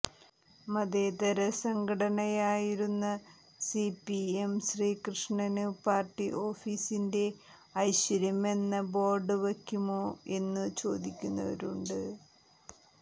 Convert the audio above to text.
മതേതര സംഘടനയായിരുന്ന സിപിഎം ശ്രീകൃഷ്ണന് പാര്ട്ടി ഓഫീസിന്റെ ഐശ്വര്യമെന്ന ബോര്ഡ് വയ്ക്കുമോ എന്നു ചോദിക്കുന്നവരുമുണ്ട്